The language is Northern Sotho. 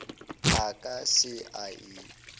a ka se e apole